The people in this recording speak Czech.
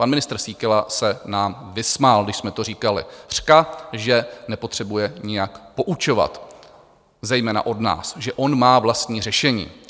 Pan ministr Síkela se nám vysmál, když jsme to říkali, řka, že nepotřebuje nijak poučovat, zejména od nás, že on má vlastní řešení.